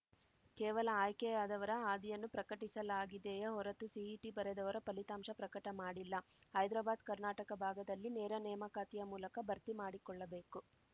ಕೇವಲ ಆಯ್ಕೆಯಾದವರ ಹಾದಿಯನ್ನು ಪ್ರಕಟಿಸಲಾಗಿದೆಯೇ ಹೊರತು ಸಿಇಟಿ ಬರೆದವರ ಫಲಿತಾಂಶ ಪ್ರಕಟ ಮಾಡಿಲ್ಲ ಹೈದರಾಬಾದ್ಕರ್ನಾಟಕ ಭಾಗದಲ್ಲಿ ನೇರನೇಮಕಾತಿಯ ಮೂಲಕ ಭರ್ತಿ ಮಾಡಿಕೊಳ್ಳಬೇಕು